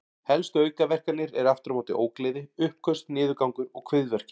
Helstu aukaverkanir eru aftur á móti ógleði, uppköst, niðurgangur og kviðverkir.